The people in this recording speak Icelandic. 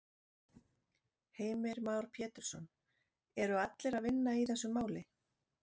Heimir Már Pétursson: Eru allir að vinna í þessu máli?